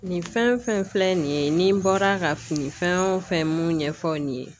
Nin fɛn fɛn filɛ nin ye nin bɔra ka fini fɛn wo fɛn mun ɲɛfɔ aw ye